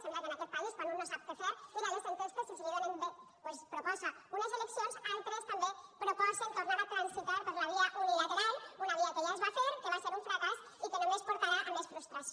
sembla que en aquest país quan un no sap què fer mira les enquestes i si li donen bé doncs proposa unes eleccions altres també proposen tornar a transitar per la via unilateral una via que ja es va fer que va ser un fracàs i que només portarà a més frustració